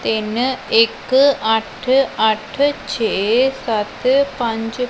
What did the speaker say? ਤਿੰਨ ਇੱਕ ਅੱਠ ਅੱਠ ਛੇ ਸਤ ਪੰਜ--